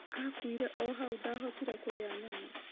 Aakuire o hau na ndaahotire kũrĩa nyama.